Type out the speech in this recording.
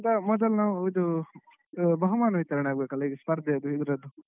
ಅದಕ್ಕಿಂತ ಮೊದಲು ನಾವು ಇದು ನಾವು ಇದು ಬಹುಮಾನ ವಿತರಣೆ ಆಗ್ಬೇಕಲ್ಲ ಸ್ಪರ್ಧೆದು ಇದ್ರದು.